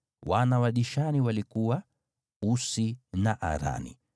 Wana wa Dishani walikuwa: Usi na Arani.